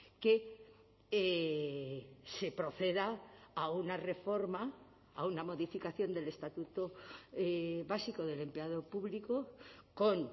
que se proceda a una reforma a una modificación del estatuto básico del empleado público con